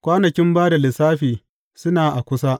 kwanakin ba da lissafi suna a kusa.